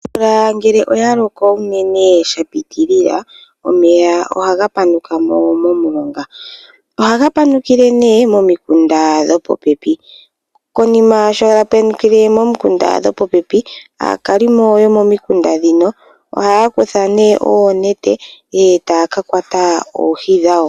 Omvula ngele oya loko unene sha piitilila omeya ohaga panuka mo momulonga. Ohaga panukile nee momikunda dho popepi. Konima sho ga panukile pomikunda dho popepi aakalimo yomomikunda ndhino ohaya kutha oonete etaya ka kwata oohi dhawo.